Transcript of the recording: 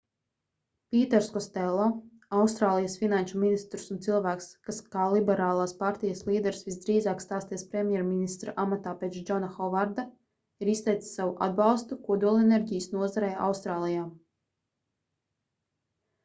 pīters kostello austrālijas finanšu ministrs un cilvēks kas kā liberālās partijas līderis visdrīzāk stāsies premjerministra amatā pēc džona hovarda ir izteicis savu atbalstu kodolenerģijas nozarei austrālijā